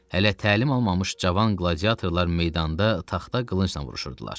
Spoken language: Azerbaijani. Hələ təlim almamış cavan qladiatorlar meydanda taxta qılıncla vuruşurdular.